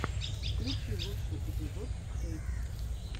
включи лучший эпизод хэйкс